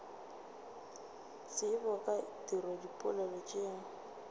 tsebo ka tiro dipoelo tšeo